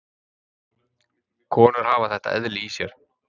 Konur hafa þetta eðli í sér.